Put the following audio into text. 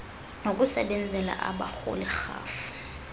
ngokusebenzela abarholi rhafu